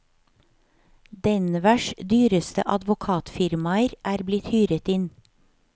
Denvers dyreste advokatfirmaer er blitt hyret inn.